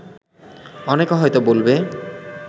অনেকে হয়ত বলবে